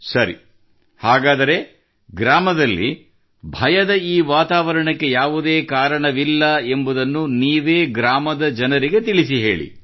ಸರಿ ಹಾಗಾದರೆ ಗ್ರಾಮದಲ್ಲಿ ಭಯದ ಈ ವಾತಾವರಣಕ್ಕೆ ಯಾವುದೇ ಕಾರಣವಿಲ್ಲ ಎಂಬುದನ್ನು ನೀವೇ ಗ್ರಾಮದ ಜನರಿಗೆ ತಿಳಿಸಿಹೇಳಿ